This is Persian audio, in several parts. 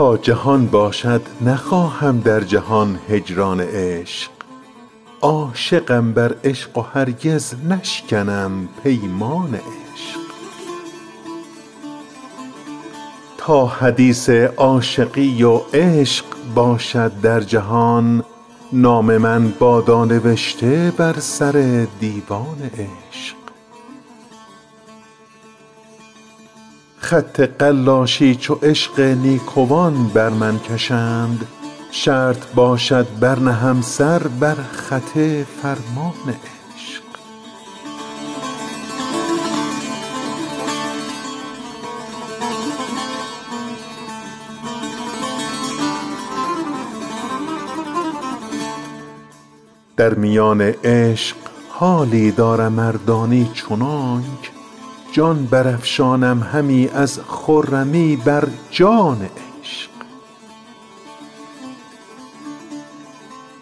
تا جهان باشد نخواهم در جهان هجران عشق عاشقم بر عشق و هرگز نشکنم پیمان عشق تا حدیث عاشقی و عشق باشد در جهان نام من بادا نوشته بر سر دیوان عشق خط قلاشی چو عشق نیکوان بر من کشند شرط باشد برنهم سر بر خط فرمان عشق در میان عشق حالی دارم اردانی چنانک جان برافشانم همی از خرمی بر جان عشق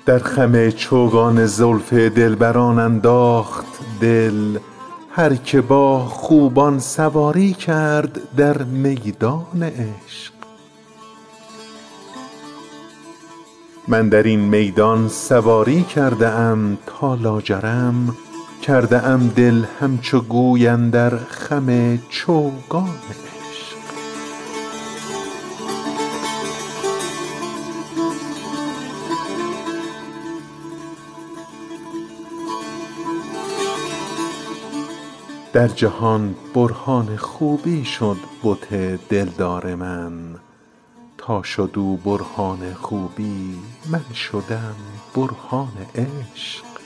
در خم چوگان زلف دلبران انداخت دل هر که با خوبان سواری کرد در میدان عشق من درین میدان سواری کرده ام تا لاجرم کرده ام دل همچو گوی اندر خم چوگان عشق در جهان برهان خوبی شد بت دلدار من تا شد او برهان خوبی من شدم برهان عشق